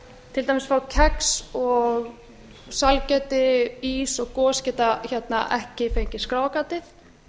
til dæmis frá geti og sælgæti ís og gos geta ekki fengið skráargatið